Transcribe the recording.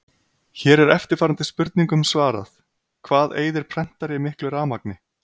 Hér er eftirfarandi spurningum svarað: Hvað eyðir prentari miklu rafmagni?